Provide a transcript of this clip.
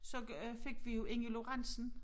Så øh fik vi jo Inge Lorentzen